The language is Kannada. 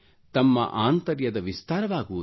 ತಮ್ಮ ಆಂತರ್ಯದ ವಿಸ್ತಾರವಾಗುವುದು